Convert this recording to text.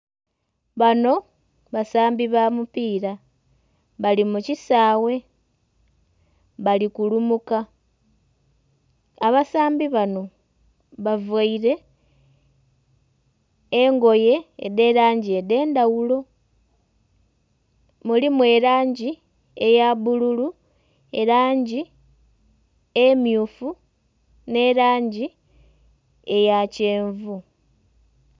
Banho basambi ba mupiira bali mu kisaawe bali kulumuka. Abasambi banho bavaire engoye edh'elangi edh'endhaghulo, mulimu elangi eya bbululu, elangi emmyufu nh'elangi eya kyenvu.